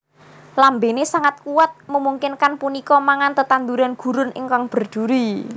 Lambene sangat kuat memungkinkan punika mangan tetanduran gurun ingkang berduri